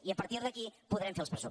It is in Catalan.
i a partir d’aquí podrem fer els pressupostos